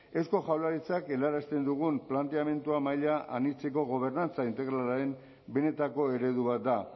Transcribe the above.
eusko jaurlaritzak helarazten dugun planteamendua maila anitzeko gobernantza integralaren benetako eredu bat da